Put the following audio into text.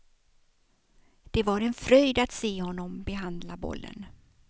Det var en fröjd att se honom behandla bollen.